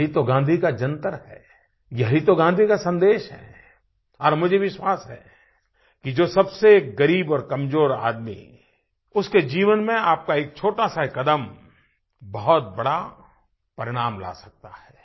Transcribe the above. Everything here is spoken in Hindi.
यही तो गाँधी का जंतर है यही तो गाँधी का सन्देश है और मुझे विश्वास है कि जो सबसे ग़रीब और कमज़ोर आदमी उसके जीवन में आपका एक छोटा सा कदम बहुत बड़ा परिणाम ला सकता है